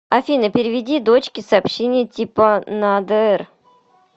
афина переведи дочке сообщение типа на др